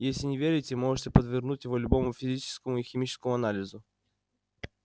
если не верите можете подвергнуть его любому физическому и химическому анализу